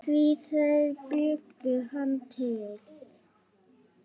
Því þeir bjuggu hann til.